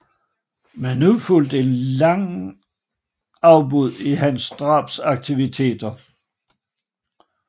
Men nu fulgte et langt afbrud i hans drabsaktiviteter